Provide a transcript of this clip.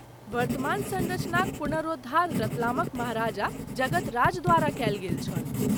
वर्तमान सँरचनाक पुनरोद्धार रतलामक महाराजा जगत राज द्वारा कयल गेल छल।